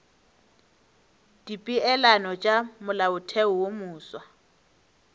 dipeelano tša molaotheo wo mofsa